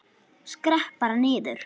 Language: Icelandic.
Skrepp bara niður.